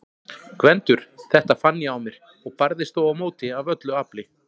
GVENDUR: Þetta fann ég á mér- og barðist þó á móti af öllu afli.